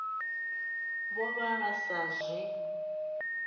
vho vha vha sa zwi